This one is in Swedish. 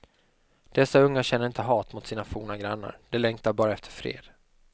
Dessa unga känner inte hat mot sina forna grannar; de längtar bara efter fred.